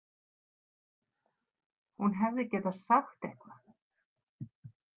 Hún hefði getað sagt eitthvað.